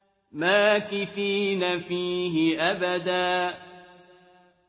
مَّاكِثِينَ فِيهِ أَبَدًا